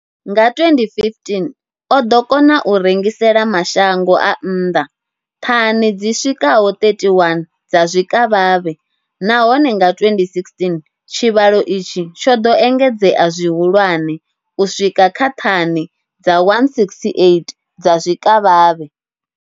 Nga 2015, o ḓo kona u rengisela mashango a nnḓa thani dzi swikaho 31 dza zwikavhavhe, nahone nga 2016 tshivhalo itshi tsho ḓo engedzea zwihulwane u swika kha thani dza 168 dza zwikavhavhe.